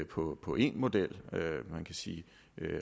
på på én model man kan sige